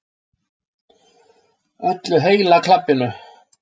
Öllu heila klabbinu.